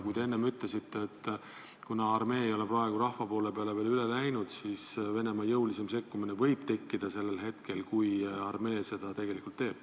Te enne ütlesite, et kuna armee ei ole praegu rahva poolele veel üle läinud, siis Venemaa jõulisem sekkumine võib alata hetkel, kui armee seda teeb.